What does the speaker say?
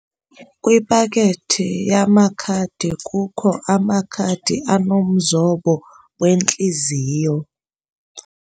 Kwipakethi yamakhadi kukho amakhadi anomzombo wentliziyo.